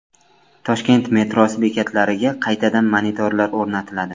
Toshkent metrosi bekatlariga qaytadan monitorlar o‘rnatiladi.